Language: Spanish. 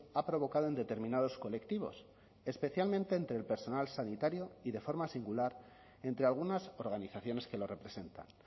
ha provocado en determinados colectivos especialmente entre el personal sanitario y de forma singular entre algunas organizaciones que lo representan